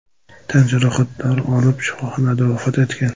tan jarohatlari olib, shifoxonada vafot etgan.